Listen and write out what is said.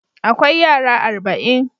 Akwai yara arba'in.